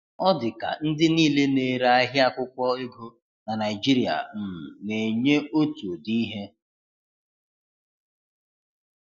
Ọ di ka ndị niile na ere ahia akwụkwo ego na Naijiria um na-enye otu ụdị ihe